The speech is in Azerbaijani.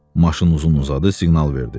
Maşın uzun-uzadı siqnal verdi.